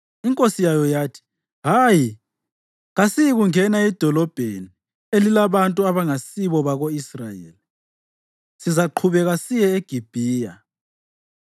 Inkosi yayo yathi, “Hayi. Kasiyikungena edolobheni elilabantu abangasibako-Israyeli. Sizaqhubeka siye eGibhiya.”